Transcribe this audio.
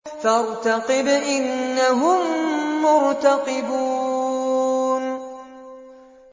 فَارْتَقِبْ إِنَّهُم مُّرْتَقِبُونَ